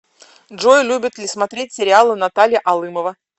джой любит ли смотреть сериалы наталья алымова